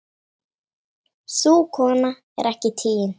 Sú kona er ekki tigin.